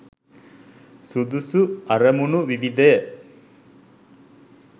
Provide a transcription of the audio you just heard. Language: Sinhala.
සුදුසු අරමුණු විවිධය